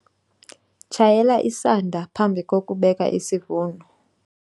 tshayela isanda phambi kokubeka isivuno